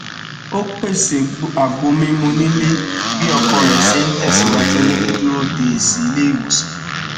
ó pèsè àgbo mímu nílé bí ọkọ rẹ ṣe n tẹsìwájú ní dídúró de èsì ilé ìwòsàn